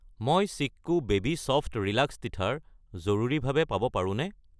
মই Chicco baby soft relax teether জৰুৰীভাৱে পাব পাৰোঁনে?